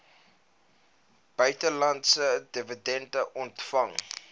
buitelandse dividende ontvang